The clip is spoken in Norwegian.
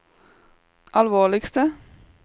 alvorligste